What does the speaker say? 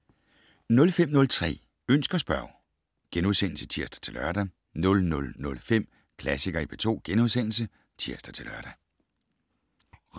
05:03: Ønsk og spørg *(tir-lør) 00:05: Klassikere i P2 *(tir-lør)